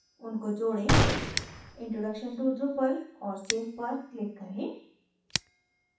उनको जोडें – introduction to drupal और save पर click करें